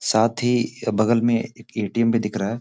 साथ ही बगल में एक एटीएम भी दिख रहा है।